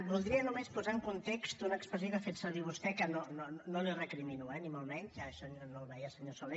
voldria només posar en context una expressió que ha fet servir vostè que no li recrimino eh ni molt menys no el veia senyor soler